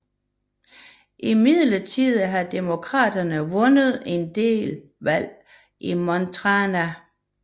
Imidlertid har demokraterne vundet en del valg i Montana